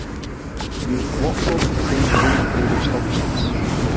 Ný vottorð um heilbrigði stofnsins